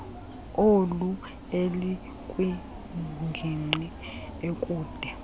oli elikwingingqi ekude